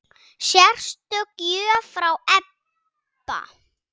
Sérstök gjöf frá Ebba.